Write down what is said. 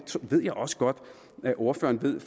ved jeg også godt at ordføreren ved